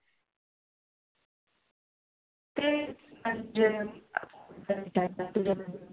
म्हणजे